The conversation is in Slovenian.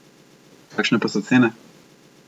Kakšne pa so cene?